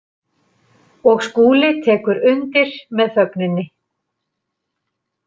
Og Skúli tekur undir með þögninni.